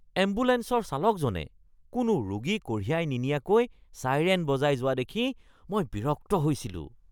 এম্বুলেঞ্চৰ চালকজনে কোনো ৰোগী কঢ়িয়াই নিনিয়াকৈ ছাইৰেন বজাই যোৱা দেখি মই বিৰক্ত হৈছিলোঁ।